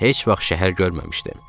Heç vaxt şəhər görməmişdim.